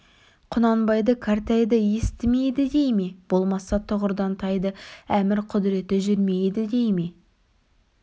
құнанбайды кәртайды естімейді дей ме болмаса тұғырдан тайды әмір құдыреті жүрмейді дей ме